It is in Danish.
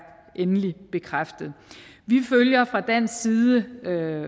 endelig bekræftet vi følger fra dansk side